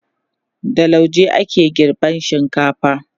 da lauje ake girban shinkafa